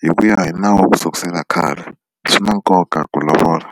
hi ku ya hi nawu kusukela khale swi na nkoka ku lovola.